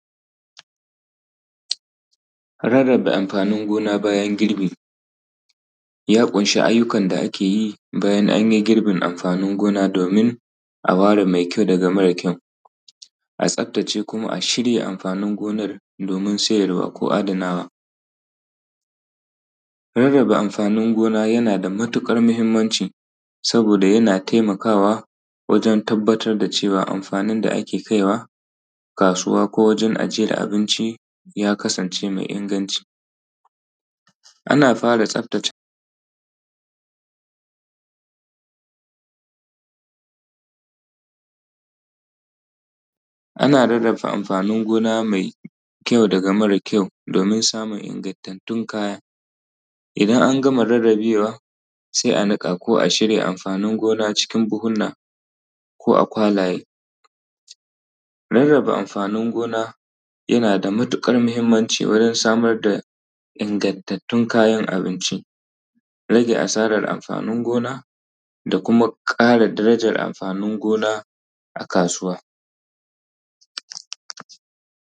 Rarrabe amfaann gona ranar girbi ya ƙunshii ayyukan da ake yi bayan anyi girbin amfaanin gona doomin a ware ma kyau daga mara kyau, a tsaftace kuma a shirya amfaanin gonan doomin siyarwa ko adanawa. Rarraba amfaanin gona yana da matuƙar muhimmanʧi sabooda yana taimakaawa wajen tabbatar da cewa amfaanin da ake kaiwa kaasuwa ko wajen ajiyar abinci ya kasance mai inganci. Ana fara tsaftace ana rarrabe amfaanin gona mai kyau daga mara kyau doomin samun ingantattun kaya, idan an gama rarrabewa sai a niƙa ko a shirya amfaanin gona cikin buhunna ko a kwalaye. Rarrabe amfaanin gona yana da matuƙar muhimmanci wurin samar da ingantattun kayan abinci, rage asaarar amfaanin gona da kuma ƙara darayar amfaanin gona a kaasuwa.